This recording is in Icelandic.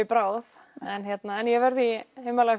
bráð en ég verð í